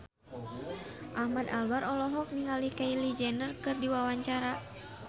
Ahmad Albar olohok ningali Kylie Jenner keur diwawancara